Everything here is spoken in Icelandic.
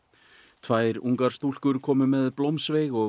tvær ungar komu með blómsveig og